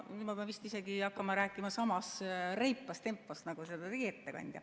Nüüd ma pean vist isegi hakkama rääkima samas reipas tempos nagu seda tegi ettekandja.